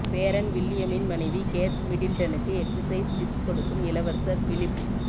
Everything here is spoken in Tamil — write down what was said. பேரன் வில்லியமின் மனைவி கேத் மிடில்டனுக்கு எக்சர்சைஸ் டிப்ஸ் கொடுக்கும் இளவரசர் பிலிப்